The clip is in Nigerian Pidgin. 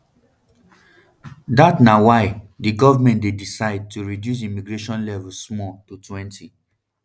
dat nay why di goment dey decide to reduce immigration level small to twenty